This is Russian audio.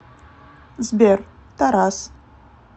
сбер тарас